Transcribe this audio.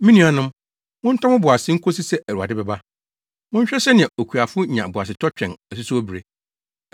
Me nuanom, montɔ mo bo ase nkosi sɛ Awurade bɛba. Monhwɛ sɛnea okuafo nya boasetɔ twɛn asusow bere.